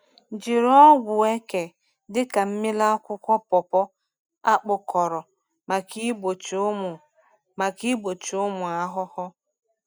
Jiri ọgwụ eke dị ka mmiri akwụkwọ pawpaw a kpụkọrọ maka igbochi ụmụ maka igbochi ụmụ ahụhụ.